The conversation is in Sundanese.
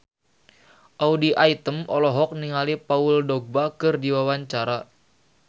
Audy Item olohok ningali Paul Dogba keur diwawancara